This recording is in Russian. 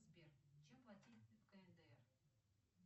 сбер чем платить в кндр